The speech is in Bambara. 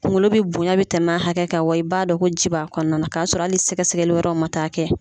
Kunkolo bi bonya bɛ tɛmɛ hakɛ kan, wa i b'a dɔn ko ji b'a kɔnɔna na, k'a sɔrɔ hali sɛgɛsɛgɛli wɛrɛ ma taa kɛ.